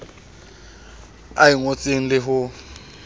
a e ngotseng le ho